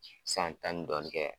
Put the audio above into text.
San tan ni dɔɔnin kɛ